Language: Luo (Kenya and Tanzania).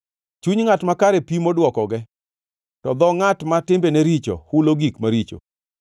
Chuny ngʼat makare pimo dwokoge, to dho ngʼat ma timbene richo hulo gik maricho.